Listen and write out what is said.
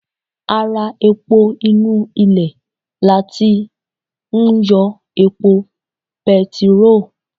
Ara epo inú ilè lati ń yọ epo petiró